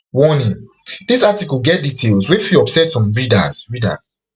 warning dis article get details wey fit upset some readers readers